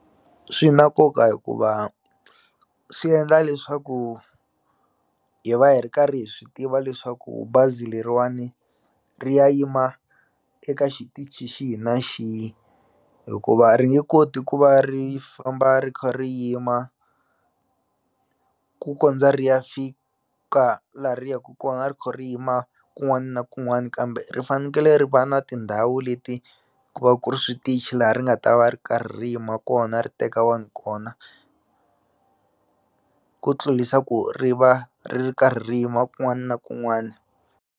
Swi na nkoka hikuva swi endla leswaku hi va hi ri karhi hi swi tiva leswaku bazi leriwani ri ya yima eka xitichi xihi na xihi hikuva ri nge koti ku va ri famba ri kha ri yima ku kondza ri ya fika laha ri ya ku kona a ri kha kun'wani na kun'wani kambe ri fanekele ri va na tindhawu leti ku va ku ri switichi laha ri nga ta va ri karhi ri yima kona ri teka vanhu kona ku tlulisa ku ri va ri ri karhi ri yima kun'wani na kun'wani.